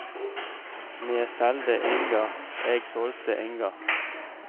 Me selde inga, eg solgte inga.